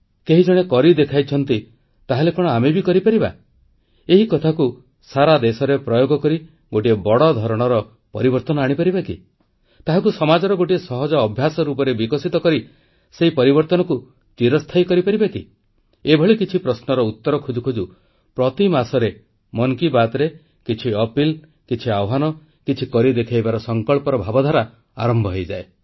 କେହି ଜଣେ କରି ଦେଖାଇଛନ୍ତି ତାହେଲେ କଣ ଆମେ ବି କରିପାରିବା ଏ କଥାକୁ ସାରା ଦେଶରେ ପ୍ରୟୋଗ କରି ଗୋଟିଏ ବଡ଼ ଧରଣର ପରିବର୍ତ୍ତନ ଆଣିପାରିବା କି ଏହାକୁ ସମାଜର ଗୋଟିଏ ସହଜ ଅଭ୍ୟାସ ରୂପରେ ବିକଶିତ କରି ସେହି ପରିବର୍ତ୍ତନକୁ ଚିରସ୍ଥାୟୀ କରିପାରିବା କି ଏଭଳି କିଛି ପ୍ରଶ୍ନର ଉତ୍ତର ଖୋଜୁ ଖୋଜୁ ପ୍ରତି ମାସରେ ମନ୍ କି ବାତ୍ରେ କିଛି ଅନୁରୋଧ କିଛି ଆହ୍ୱାନ କିଛି କରି ଦେଖାଇବା ସଂକଳ୍ପର ଭାବଧାରା ଆରମ୍ଭ ହୋଇଯାଏ